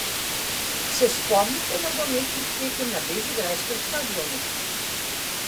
Se spomnite nogometnih tekem na bežigrajskem stadionu?